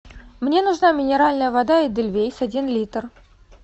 мне нужна минеральная вода эдельвейс один литр